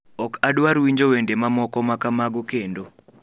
Ok adwar winjo wende mamoko ma kamago kendo